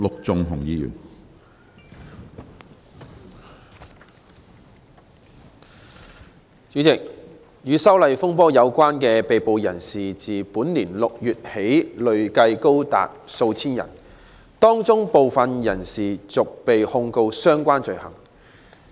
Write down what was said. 主席，與修例風波有關的被捕人士自本年6月起累計高達數千人，當中部分人陸續被控相關罪行。